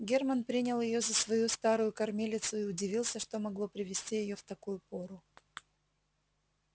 германн принял её за свою старую кормилицу и удивился что могло привести её в такую пору